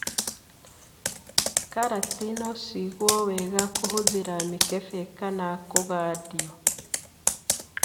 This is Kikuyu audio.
Karati no cigwo wega kũhũthĩra mĩkebe kana kũgandio.